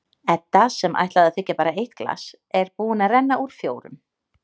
Edda, sem ætlaði að þiggja bara eitt glas, er búin að renna úr fjórum.